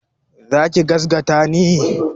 Za ki gazgata ni?